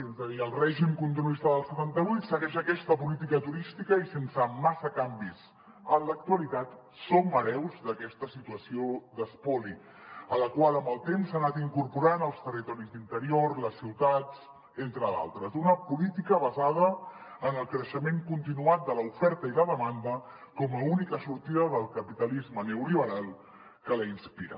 és a dir el règim continuista del setanta vuit segueix aquesta política turística i sense massa canvis en l’actualitat som hereus d’aquesta situació d’espoli a la qual amb el temps s’han anat incorporant els territoris d’interior les ciutats entre d’altres una política basada en el creixement continuat de l’oferta i la demanda com a única sortida del capitalisme neoliberal que la inspira